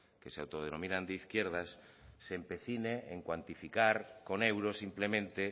que se autodenominan de izquierdas se empecine en cuantificar con euros simplemente